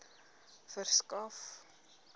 verskaf